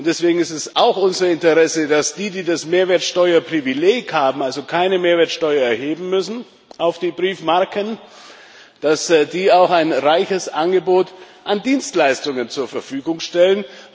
Und deswegen ist es auch unser Interesse, dass diejenigen, die das Mehrwertsteuerprivileg haben also keine Mehrwertsteuer auf die Briefmarken erheben müssen auch ein reiches Angebot an Dienstleistungen zur Verfügung stellen.